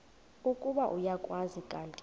ukuba uyakwazi kanti